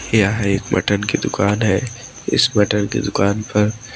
यह एक मटन की दुकान है इस मटन की दुकान पर--